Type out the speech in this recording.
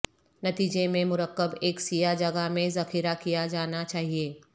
نتیجے میں مرکب ایک سیاہ جگہ میں ذخیرہ کیا جانا چاہئے